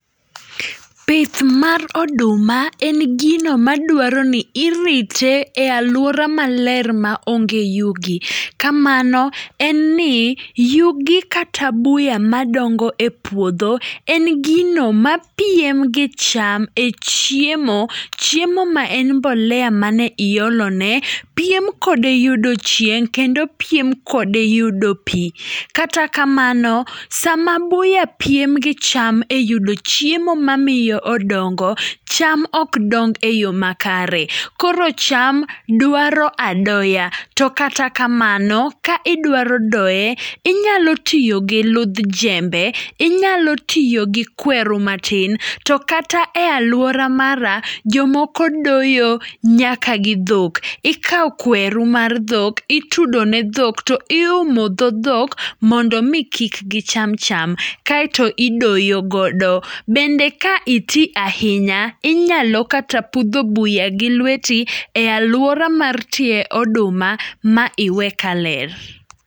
Pith mar oduma en gino maduaroni irite e aluora maler maonge yuge. Kamano en ni yugi kata buya madongo e puodho, en gino mapiem gi cham e chiemo. Chiem am en mbolea mane iolo ne, piem kode yudo chieng' kendo piem kode yudo pii. Kata kamano sama buya piem gi cham e yudo chiemo mamiyo odongo, cham okdong e yo makare. Koro cham duaro adoya, to kata kamano ka idwaro doye inyalo tiyogi ludh jembe, inyalo tiyogi kweru matin. To kata e aluora mara jomoko doyo nyaka gi dhok. Ikao kweru mar dhok itudo ne dhok to iumo dho dhok mondomi kik gicham cham. Kaeto idoyo godo. Bende ka iti ahinya inyalo kata pudho buya gi lweti e aluora mar tie oduma ma iwe kaler.